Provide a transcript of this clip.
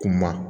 Kuma